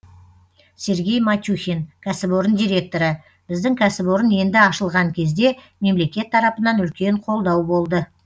сергей матюхин кәсіпорын директоры біздің кәсіпорын енді ашылған кезде мемлекет тарапынан үлкен қолдау болды